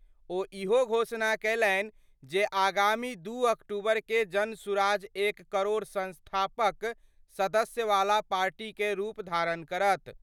ओ इहो घोषणा कयलनि जे आगामी 2 अक्टूबर कए जनसुराज एक करोड़ संस्थापक सदस्य वाला पार्टी कए रूप धारण करत।